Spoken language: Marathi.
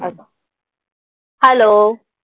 Hello